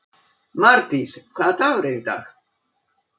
Mardís, hvaða dagur er í dag?